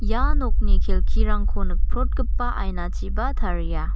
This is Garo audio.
ia nokni kelkirangko nikprotgipa ainachiba taria.